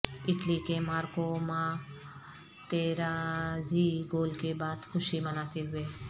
Italy کے Marco Materazzi goal کے بعد خوشی مناتے ہوئے